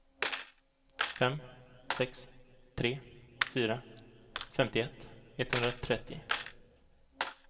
fem sex tre fyra femtioett etthundratrettio